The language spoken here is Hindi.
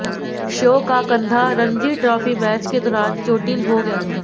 शॉ का कंधा रणजी ट्राफी मैच के दौरान चोटिल हो गया था